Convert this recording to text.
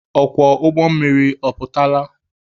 Ọkwọ ụgbọ mmiri ọ pụtala?